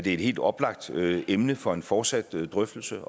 et helt oplagt emne for en fortsat drøftelse